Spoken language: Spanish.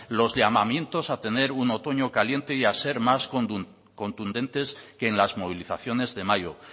los llamamientos a tener un otoño caliente y a ser más contundentes que en las movilizaciones de mayo